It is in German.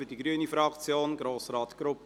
Für die grüne Fraktion: Grossrat Grupp.